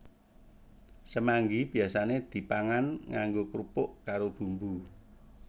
Semanggi biyasane dipangan nganggo krupuk karo bumbu